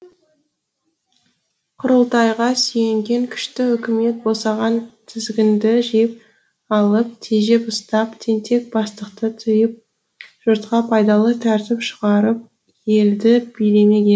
құрылтайға сүйенген күшті үкімет босаған тізгінді жиып алып тежеп ұстап тентек бастықты тыйып жұртқа пайдалы тәртіп шығарып елді билемек е